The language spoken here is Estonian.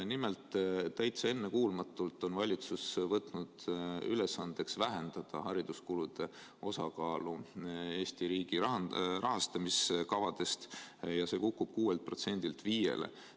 Nimelt, täitsa ennekuulmatult on valitsus võtnud ülesandeks vähendada hariduskulude osakaalu Eesti riigi rahastamiskavades, see kukub 6%‑lt 5%‑le.